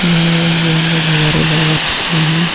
यह रंग-बिरंगे गुब्बारे लगा रखे है।